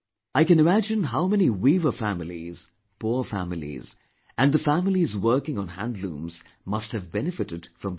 I can imagine how many weaver families, poor families, and the families working on handlooms must have benefitted from this